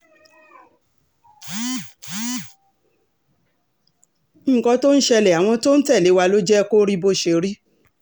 nǹkan tó ń ṣẹlẹ̀ àwọn tó ń tẹ̀lé wa ló jẹ́ kó rí bó ṣe rí